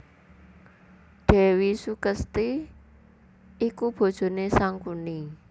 Dèwi Sukesti iku bojoné Sangkuni